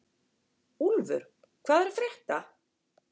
Úlfur, hvað er að frétta?